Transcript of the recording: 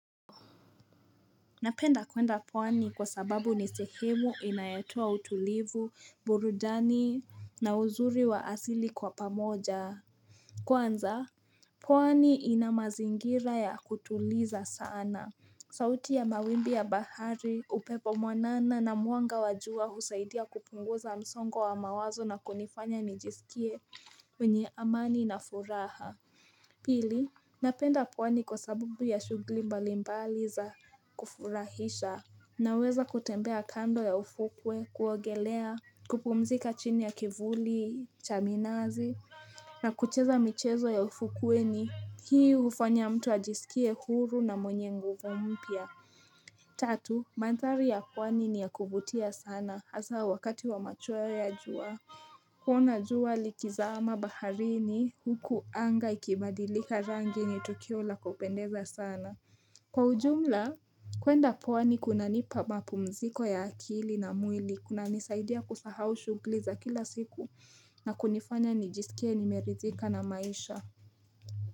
Napenda kwenda pwani kwa sababu ni sehemu inayotoa utulivu, burudani na uzuri wa asili kwa pamoja. Kwanza, pwani ina mazingira ya kutuliza sana. Sauti ya mawimbi ya bahari, upepo mwanana na mwanga wa jua husaidia kupunguza msongo wa mawazo na kunifanya nijisikie mwenye amani na furaha. Pili, napenda pwani kwa sababu ya shughuli mbalimbali za kufurahisha Naweza kutembea kando ya ufukwe kuogelea kupumzika chini ya kivuli cha minazi na kucheza michezo ya ufukweni Hii hufanya mtu ajisikie huru na mwenye nguvu mpya Tatu, mandhari ya pwani ni ya kuvutia sana hasa wakati wa machweo ya jua kuona jua likizaama baharini huku anga ikibadilika rangi ni Tukio la kupendeza sana Kwa ujumla, kuenda pwani kunanipa mapumziko ya akili na mwili, kunanisaidia kusahau shughuli za kila siku na kunifanya nijisikie nimeridhika na maisha.